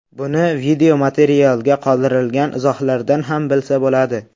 Buni videomaterialga qoldirilgan izohlardan ham bilsa bo‘ladi.